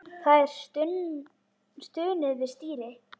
Það er stunið við stýrið.